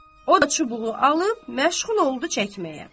O da çubuğu alıb məşğul oldu çəkməyə.